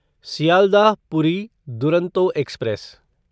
Sealdah Puri Duronto express